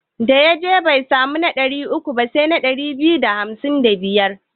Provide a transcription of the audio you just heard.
Da ya je bai samu na ɗari uku ba sai ɗari biyu da hamsin da biyar.